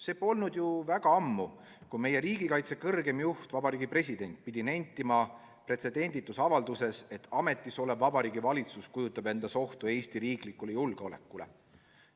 See polnud ju väga ammu, kui meie riigikaitse kõrgeim juht, Vabariigi President pidi pretsedenditus avalduses nentima, et ametis olev Vabariigi Valitsus kujutab endast ohtu Eesti riigi julgeolekule.